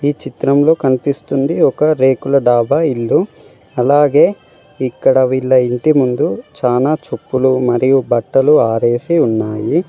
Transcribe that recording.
ఈ చిత్రంలో కనిపిస్తుంది ఒక రేకుల డాబా ఇల్లు అలాగే ఇక్కడ వీళ్ళ ఇంటి ముందు చానా చెప్పులు మరియు బట్టలు ఆరేసి ఉన్నాయి.